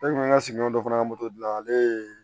Ne kun ka sigiɲɔgɔn dɔ fana ka moto dilan ale ye